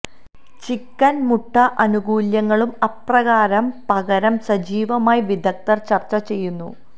chicken മുട്ട ആനുകൂല്യങ്ങളും അപ്രകാരം പകരം സജീവമായി വിദഗ്ധർ ചർച്ച ചെയ്യുന്നു